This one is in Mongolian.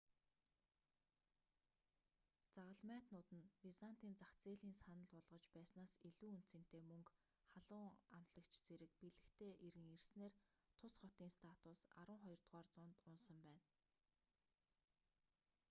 загалмайтнууд нь византын зах зээлийн саналж болгож байснаас илүү үнэ цэнэтэй мөнгө халуун амтлагч зэрэг бэлэгтэй эргэн ирсэнээр тус хотын статус арванхоёрдугаар зуунд унасан байна